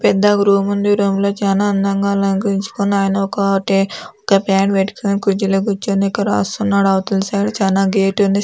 పెద్దగా రూమ్ ఉంది రూమ్ లో చానా అందంగా అలకరించుకున్నా అయన ఒక టే ఒక పాడ్ పెట్టుకోని కుర్చీలో కూర్చోని ఇక రాస్తున్నాడు అవతల సైడ్ చానా గేట్ ఉంది.